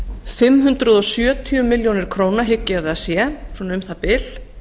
fimm hundruð sjötíu milljónum króna hygg ég að það sé svona um það bil